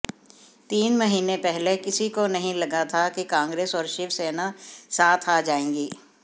तीन महीने पहले किसी को नहीं लगा था कि कांग्रेस और शिवसेना साथ आ जाएगी